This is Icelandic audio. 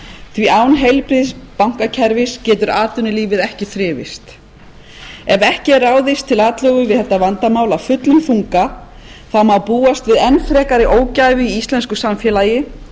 því án heilbrigðs bankakerfis getur atvinnulífið ekki þrifist ef ekki er ráðist til atlögu við þetta vandamál af fullum þunga þá má búast við enn frekari ógæfu í íslensku samfélagi